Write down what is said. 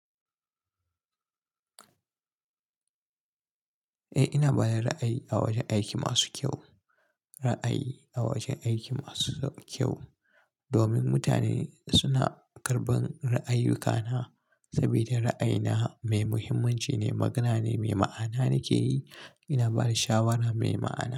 Eh ina bada ra'ayi a wajen aiki masu kyau, ra'ayi a wajen aiki masu kyau. Domin mutane suna karɓan ra'ayuyyuka na saboda ra'ayina mai muhimmanci ne, magana ne mai ma'ana nake yi. Ina bada shawara mai ma'ana.